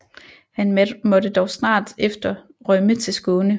Han måtte dog snart efter rømme til Skåne